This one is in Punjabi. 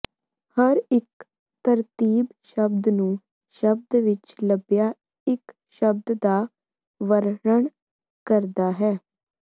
ਹਰ ਇੱਕ ਤਰਤੀਬ ਸ਼ਬਦ ਨੂੰ ਸ਼ਬਦ ਵਿਚ ਲੱਭਿਆ ਇਕ ਸ਼ਬਦ ਦਾ ਵਰਣਨ ਕਰਦਾ ਹੈ